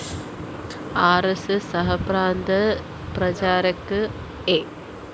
R S S സഹപ്രാന്ത പ്രചാരക് A